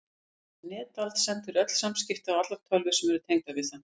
Netald sendir öll samskipti á allar tölvur sem eru tengdar við það.